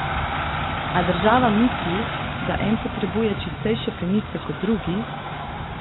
A država misli, da en potrebuje čistejše plenice kot drugi?